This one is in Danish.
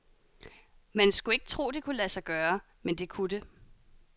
Man skulle ikke tro det kunne lade sig gøre, men det kunne det.